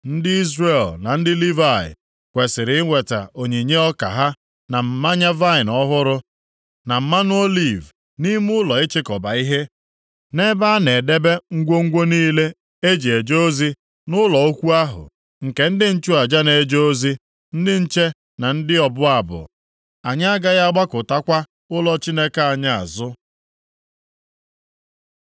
Ndị Izrel na ndị Livayị, kwesiri iweta onyinye ọka ha, na mmanya vaịnị ọhụrụ, na mmanụ oliv nʼime ụlọ ịchịkọba ihe, nʼebe a na-edebe ngwongwo niile e ji eje ozi nʼụlọ ukwu ahụ, nke ndị nchụaja na-eje ozi, ndị nche na nke ndị ọbụ abụ. “Anyị agaghị agbakụtakwa ụlọ Chineke anyị azụ.”